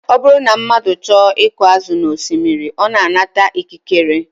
Ọ bụrụ na mmadụ chọọ iku azụ n'osimiri, ọ na-anata ikikere